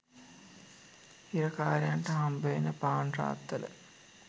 හිරකාරයන්ට හම්බවෙන පාන් රාත්තල